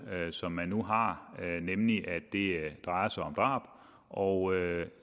som man nu har nemlig at det drejer sig om drab og